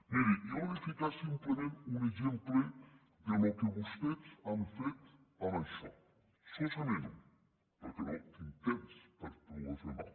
miri jo li he de ficar simplement un exemple del que vostès han fet amb això solament un perquè no tinc temps per poder fer mal